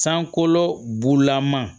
Sankolo bulama